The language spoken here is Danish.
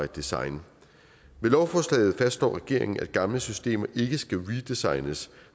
design med lovforslaget fastslår regeringen at gamle systemer ikke skal redesignes